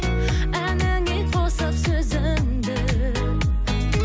әніңе қосып сөзіңді